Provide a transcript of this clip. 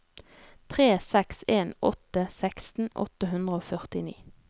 tre seks en åtte seksten åtte hundre og førtini